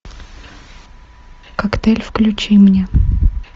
коктейль включи мне